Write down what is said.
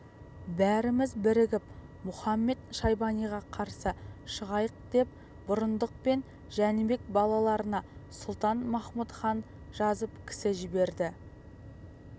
бәріміз бірігіп мұхамед-шайбаниға қарсы шығайықдеп бұрындық пен жәнібек балаларына сұлтан-махмұт хат жазып кісі жіберді